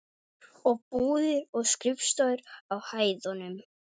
Og búðir og skrifstofur á hæðunum.